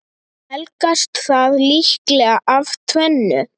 Helgast það líklega af tvennu.